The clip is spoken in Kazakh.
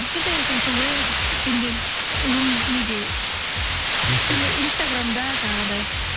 кішкентай екенсің ғой иә деп неде инстаграм инстаграмда жаңағындай